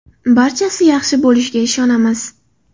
Barchasi yaxshi bo‘lishiga ishonamiz.